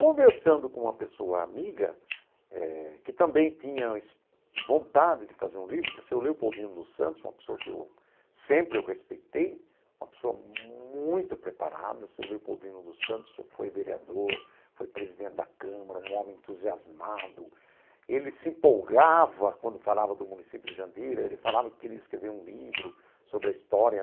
Conversando com uma pessoa amiga, eh que também tinha vontade de fazer um livro, que é o Seu Leopoldino dos Santos, uma pessoa que eu sempre respeitei, uma pessoa muito preparada, o Seu Leopoldino dos Santos foi vereador, foi presidente da Câmara, um homem entusiasmado, ele se empolgava quando falava do município de Jandira, ele falava que queria escrever um livro sobre a história,